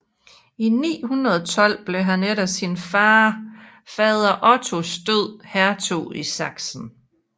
I 912 blev han efter sin fader Ottos død hertug i Sachsen